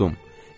Uddum.